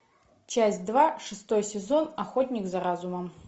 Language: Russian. часть два шестой сезон охотник за разумом